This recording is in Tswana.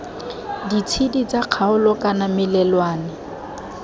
ditshedi tsa kgaolo kana melelwane